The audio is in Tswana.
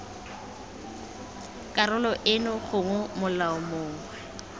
karolo eno gongwe molao mongwe